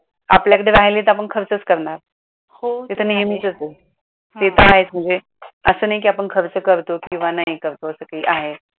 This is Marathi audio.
आपल्याकडे राहले नाही तर आपण खर्चच करणार ते तर नेहमीचच आहे ते तर आहेच म्हणजे असं नाही कि आपण खर्च करतो